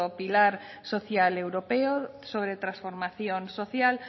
pilar social europeo sobre transformación social